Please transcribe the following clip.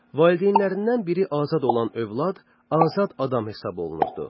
Valideynlərindən biri azad olan övlad azad adam hesab olunurdu.